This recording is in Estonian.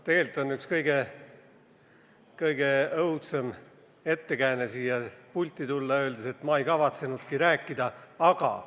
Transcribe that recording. Tegelikult on üks kõige õudsem ettekääne siia pulti tulla põhjendus, et ma ei kavatsenudki rääkida, aga ...